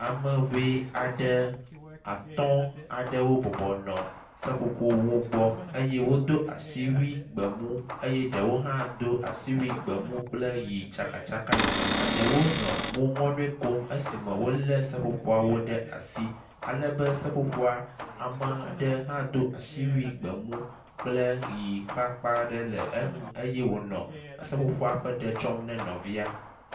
Ame ŋee aɖe atɔ̃ aɖewo bɔbɔ nɔ seƒoƒowo gbɔ, eye ɖewo do asiwui gbemu eye ɖewo hã do asiwui gbemu kple ʋɛ̃ tsakatsaka, eɖewo nɔ mo ŋɔnɔe kom esime wolé seƒoƒoawo ɖe asi alebe seƒoƒoa, ame ɖe hã do asiwui gbemu kple ʋɛ̃ ƒe akpa ɖe le rŋu eye wònɔ seƒoƒoa ƒe ɖe tsɔm ne nɔvia.